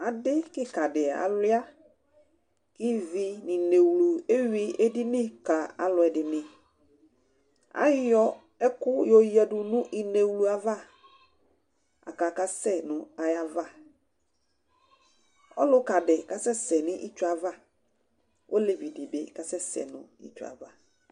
adi kika di alʋuia kivi ninewlu ewʋi edini kalu ɛdini, ayɔ ɛku yadu nu inewlu yɛ ava la ka kasɛ nu ayava, ɔluka di kasɛsɛ nu itsue ava, olevi di bi kasɛsɛ nu itsʋe ava